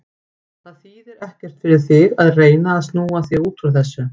Það þýðir ekkert fyrir þig að reyna að snúa þig út úr þessu.